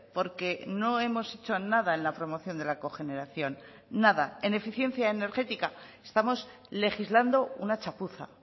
porque no hemos hecho nada en la promoción de la cogeneración nada en eficiencia energética estamos legislando una chapuza